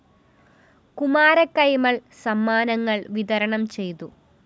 കുമാരകൈമള്‍ സമ്മാനങ്ങള്‍ വിതരണം ചെയ്തു